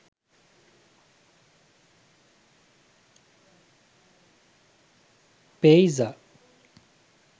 payza